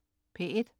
P1: